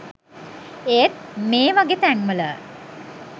ඒත් මේවගෙ තැන්වල